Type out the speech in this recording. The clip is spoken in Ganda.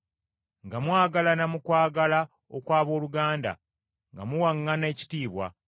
nga mwagalana mu kwagala okw’abooluganda, nga muwaŋŋana ekitiibwa,